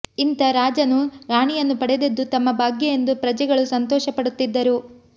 ಇಂಥ ರಾಜನನ್ನೂ ರಾಣಿಯನ್ನೂ ಪಡೆದದ್ದು ತಮ್ಮ ಭಾಗ್ಯ ಎಂದು ಪ್ರಜೆಗಳು ಸಂತೋಷಪಡುತ್ತಿದ್ದರು